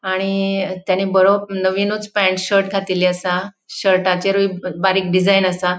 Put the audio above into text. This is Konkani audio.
आणि तेणे बरो नविनूच पेन्ट शर्ट घातिले असा शर्टाचेरुय बारीक डिजाइन असा.